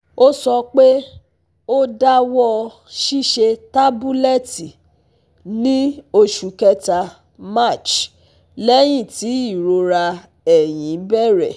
Ó sọ pé ó dáwọ́ ṣiṣẹ́ tabulẹti ní oṣù kẹta (March) lẹ́yìn tí irora ẹ̀yin bẹ̀rẹ̀